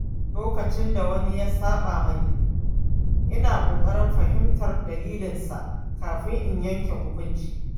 Lokacin da wani ya saƄa mani, ina ƙoƙarin fahimtar dalilinsa kafin in yanke hukunci.